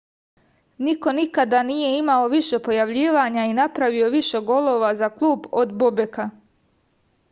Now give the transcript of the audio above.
niko nikada nije imao više pojavljivanja i napravio više golova za klub od bobeka